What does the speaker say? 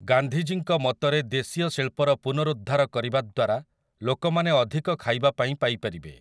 ଗାନ୍ଧୀଜୀଙ୍କ ମତରେ ଦେଶୀୟ ଶିଳ୍ପର ପୁନରୁଉଦ୍ଧାର କରିବା ଦ୍ୱାରା ଲୋକମାନେ ଅଧିକ ଖାଇବା ପାଇଁ ପାଇ ପାରିବେ ।